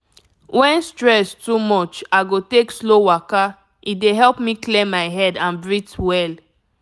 when stress too much i go take slow waka e dey help me clear my head and breathe well.